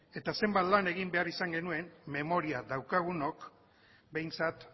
eta zenbat lan egin behar izan genuen memoria daukagunok behintzat